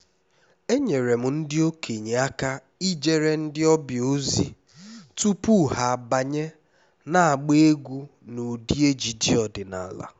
enyere m ndị okenye aka ijere ndị ọbịa ozi tupu ha abanye n’agba egwú n’ụdị ejiji ọdịnala